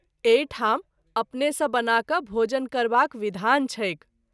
एहि ठाम अपने सँ बना क’ भोजन करबाक विधान छैक।